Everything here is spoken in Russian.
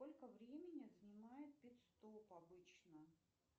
сколько времени занимает пит стоп обычно